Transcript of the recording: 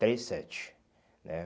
Três, sete, né?